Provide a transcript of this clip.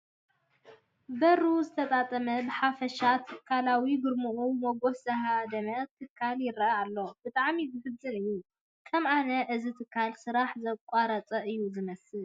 በሩ ዝተጣመመ ብሓፈሻ ትካላዊ ግርምኡ ሞገሱ ዝሃደመ ትካል ይርአ ኣሎ፡፡ ብጣዕሚ ዘሕዝን እዩ፡፡ ከም ኣነ እዚ ትካል ስራሕ ዘቋረፀ እዩ ዝመስል፡፡